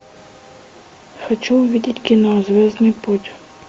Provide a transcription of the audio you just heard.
хочу увидеть кино звездный путь